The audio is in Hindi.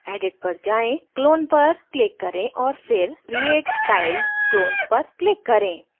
edit पर जाएँ clone पर click और फिर create tiled clones पर click करें